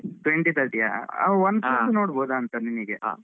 Twenty thirty ಯಾ Oneplus ನೋಡ್ಬಹುದಾಂತ ನಿನಿಗೆ. Oneplus thirty ಒಳಗೆ, ಒಳ್ಳೇದೇ ಸಿಗ್ತದೆ ಅಲ Nord ಎಲ್ಲಾ ,